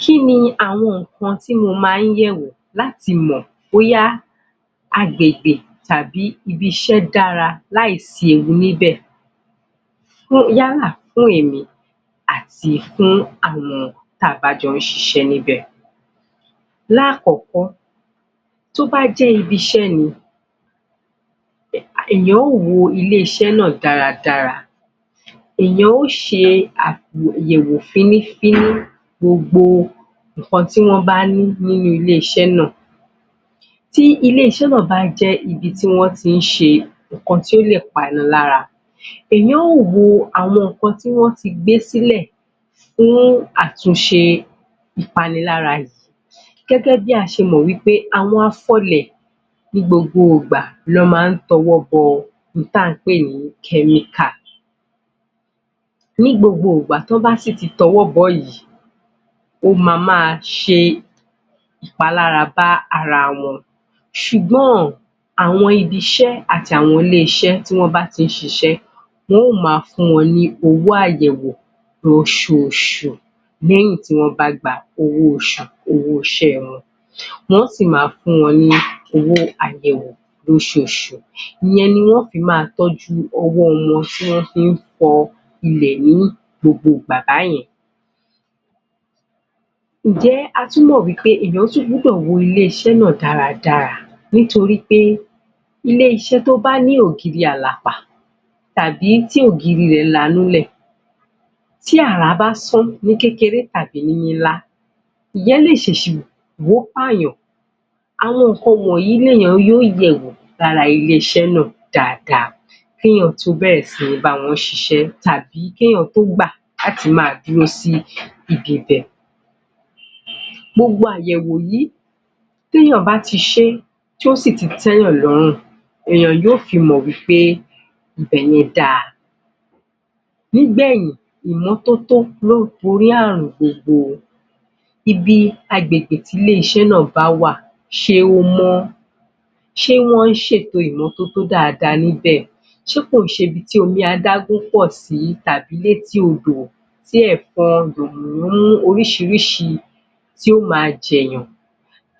Kí ni àwọn nǹkan tí mo máa ń yẹ̀ wò láti mọ̀ bóyá agbègbè tàbí ibi-iṣẹ́ dára láì sí ewu níbẹ̀? Yálà fún èmi àti fún àwọn tí a bá jọ ń ṣiṣẹ́ níbẹ̀ lákọ̀ọ́kọ́, tó bá jẹ́ ibi-iṣẹ́ ni èèyàn ó wo ibi-iṣẹ́ náà dáradára èèyàn ó ṣe àyẹ̀wò fínnífínní, gbogbo nǹkan tí wọ́n bá ní ní ilé-iṣẹ́ náà Tí ilé-iṣẹ́ náà bá jẹ́ ibi tí wọ́n ti ń ṣe nǹkan tí ó lè panilára èèyàn ó wo àwọn nǹkan tí wọ́n ti gbé sílẹ̀ fún àtúnṣe ìpanilára yìí gẹ́gẹ́ bí a ṣe mọ̀ wí pé àwọn afọlẹ̀ ní gbogbo ìgbà ni wọ́n máa ń tọwọ́ bọ ohun tí à ń pè ní chemical ní gbogbo ìgbà tí wọ́n bá sì ti tọwọ́ bọ̀ọ́ yìí ó máa máa ṣe ìpalára bá ara wọn ṣùgbọ́n, àwọn ibi-iṣẹ́ àti àwọn ilé-iṣẹ́ tí wọ́n bá ti ń ṣiṣẹ́ wọn ò máa fún wọn ní owó àyẹ̀wò níh oṣooṣù lẹ́yìn tí wọ́n bá gba owó oṣù, owó iṣẹ́ wọn wọn ó sì máa fún wọn ní owó àyẹ̀wò lóṣooṣù, ìyẹn ni wọn ó máa fi tọ́jú ọwọ́ wọn tí wọ́n fi ń fọ ilẹ̀ ní gbogbo ìgbà báyẹn Ǹjẹ́ a tún mọ̀ wí pé èèyàn tún gbúdọ̀ wo ilé-iṣẹ́ náà dáradára nítorí pé, ilé-iṣẹ́ tó bá ní ògiri àlàpà tàbí tí ògiri rẹ̀ lanu lẹ̀ tí àrá bá sán ní kékeré tàbí ńlá ìyẹn lè ṣèṣì wó pààyàn àwọn nǹkan wọ̀nyí lèèyàn ó yẹ̀ wò lára ilé-iṣẹ́ náà dáadáa kí èèyàn tó bẹ̀rẹ̀ sí ní báwọn ṣiṣẹ́ tàbí kí èèyàn tó gbà láti máa dúró sí ibi bẹ̀ gbogbo àyẹ̀wò yìí, tí èèyàn bá ti ṣe tí ó sì ti tẹ́ èèyàn lọ́rùn èẹ̀yàn yóò fi mọ̀ wí pé ibẹ̀ yẹn dáa Nígbẹ̀yìn ìmọ́tótó ló ń borí àrùn gbogbo o ibi agbègbè tí ilé-iṣẹ́ náà bá wà ṣé ó mọ́ ṣé wọ́n ṣe ètò ìmọ́tótó dáadáa níbẹ̀ ṣé kò ń ṣe ibi tí omi adágún pọ̀ sì tàbí létí odò tí ẹ̀fọn yànmùyánmú oríṣiríṣi tí yóò máa jẹ̀ẹ̀yàn